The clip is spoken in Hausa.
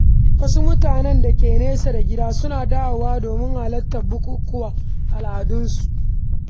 Wasu mutanen da ke nesa da gidajensu suna dawowa gida don halartar bukukuwan al’adu.